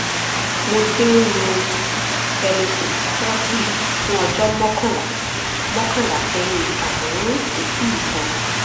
mo ti ń lo belosix forty fún ọjọ́ mọ́kànlá mọ́kànlá sẹ́yìn àmọ́ kò tíì sàn